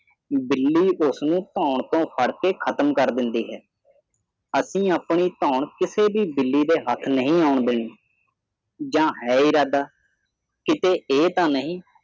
ਬਿੱਲੀ ਉਸ ਨੂੰ ਧੋਣ ਤੋਂ ਫੜ ਕੇ ਖਤਮ ਕਰ ਦਿੰਦੀ ਹੈ ਅਸੀਂ ਆਪਣੀ ਧੋਣ ਕਿਸੇ ਵੀ ਬਿੱਲੀ ਦੇ ਹੱਥ ਨਹੀਂ ਆਉਣ ਦੇਣੀ ਜਾਂ ਹੈ ਇਰਾਦਾ ਕਿਤੇ ਇਹ ਤੇ ਨਹੀ